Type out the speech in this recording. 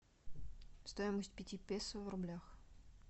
стоимость пяти песо в рублях